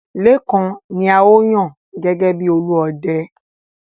Lékan ni a ó yàn gẹ́gẹ́ bi Olúọdẹ.